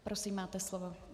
Prosím, máte slovo.